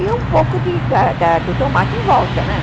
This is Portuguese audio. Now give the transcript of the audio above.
E um pouco de da da do tomate em volta, né?